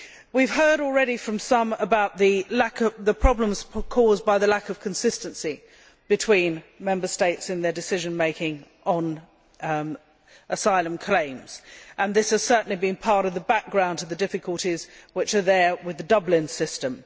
We have heard already from some about the problems caused by the lack of consistency between Member States in their decision making on asylum claims, and this has certainly been part of the background to the difficulties which are there with the Dublin system.